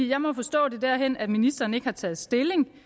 jeg må forstå det derhen at ministeren ikke har taget stilling